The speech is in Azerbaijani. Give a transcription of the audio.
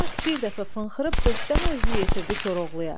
At bir dəfə fınxırıb dörddəmə özünü yetirdi Koroğluya.